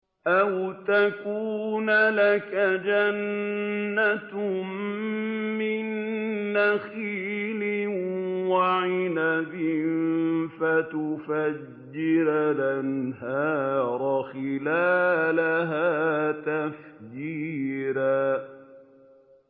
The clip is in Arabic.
أَوْ تَكُونَ لَكَ جَنَّةٌ مِّن نَّخِيلٍ وَعِنَبٍ فَتُفَجِّرَ الْأَنْهَارَ خِلَالَهَا تَفْجِيرًا